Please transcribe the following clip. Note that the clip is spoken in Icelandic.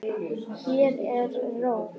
Hér er ró.